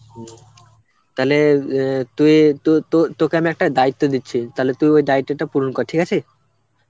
হম. তালে অ্যাঁ তুই তো~ তো~ তোকে আমি একটা দায়িত্ব দিচ্ছি তুই ওই দায়িত্বটা পূরণ কর, ঠিক আছে?